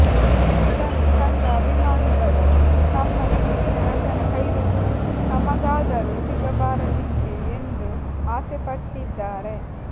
ಇದನ್ನು ಕಂಡ ಅಭಿಮಾನಿಗಳೂ ತಮ್ಮ ನೆಚ್ಚಿನ ನಟನ ಕೈರುಚಿ ತಮಗಾದರೂ ಸಿಗಬಾರದಿತ್ತೇ ಎಂದು ಆಸೆಪಟ್ಟಿದ್ದಾರೆ